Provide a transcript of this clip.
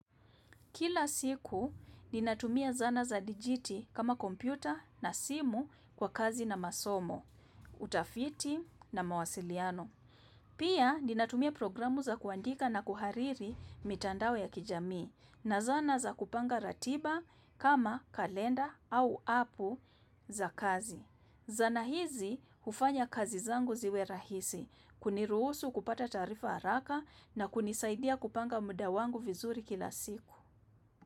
Kila siku, ninatumia zana za dijiti kama kompyuta na simu kwa kazi na masomo, utafiti na mawasiliano. Pia, ninatumia programu za kuandika na kuhariri mitandao ya kijamii na zana za kupanga ratiba kama kalenda au apu za kazi. Zana hizi ufanya kazi zangu ziwe rahisi, kuniruhusu kupata tarifa haraka na kunizaidia kupanga muda wangu vizuri kila siku.